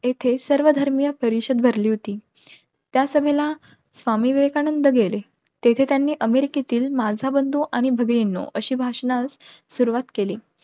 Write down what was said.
येथे सर्व धर्मीय परिषद भरली होती. त्या सभेला स्वामी विवेकानंद गेले. तेथे त्यांनी अमेरिकेतील माझा बंधू आणि भगिनींनो अश्या भाषणाने सुरवात केली.